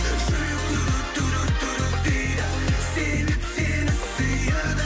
жүрек дейді себеп сені сүйеді